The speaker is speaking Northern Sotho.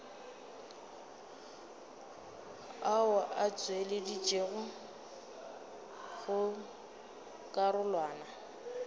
ao a tšweleditšwego go karolwana